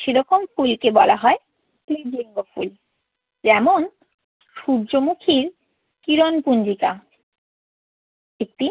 সে রকম ফুলকে বলা হয় ক্লীব লিঙ্গ ফুল। যেমন, সূর্যমুখীর কিরণ পুঞ্জিকা একটি